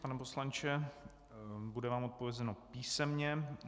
Pane poslanče, bude vám odpovězeno písemně.